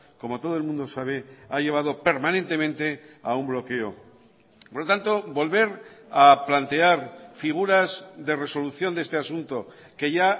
como todo el mundo sabe ha llevado permanentemente a un bloqueo por lo tanto volver a plantear figuras de resolución de este asunto que ya